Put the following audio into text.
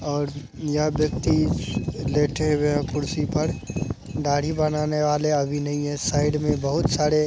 और यहां व्यक्ति लेटे हुए हैं कुर्सी पर दाढ़ी बनाने वाले अभी नहीं है साइड में बहुत सारे --